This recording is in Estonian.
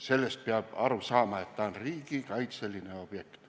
Sellest peab aru saama, et ta on riigikaitseline objekt.